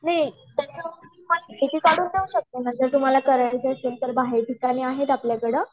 हम्म उंक्लेयरकस आहे पाठवू पण शकतो तुम्हाला करायचा असेल तर बाहेर ठिकाण आहेत आपल्याकडे